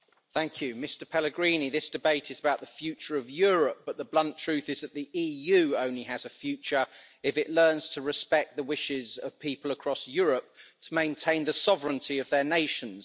Mr President, Mr Pellegrini, this debate is about the future of Europe, but the blunt truth is that the EU only has a future if it learns to respect the wishes of people across Europe to maintain the sovereignty of their nations.